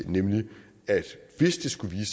nemlig at hvis det skulle